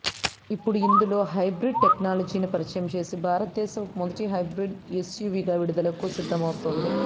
ఇప్పుడు ఇందులో హైబ్రిడ్ టెక్నాలజీని పరిచయం చేసి భారతదేశపు మొదటి హైబ్రిడ్ ఎస్యువిగా విడుదలకు సిద్దమవుతోంది